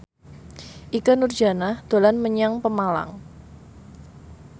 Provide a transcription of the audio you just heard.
Ikke Nurjanah dolan menyang Pemalang